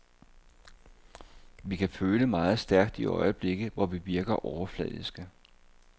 Vi kan føle meget stærkt i øjeblikke, hvor vi virker overfladiske.